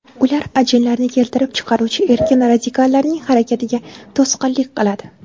Ular ajinlarni keltirib chiqaruvchi erkin radikallarning harakatiga to‘sqinlik qiladi.